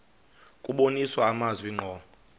kubonisa amazwi ngqo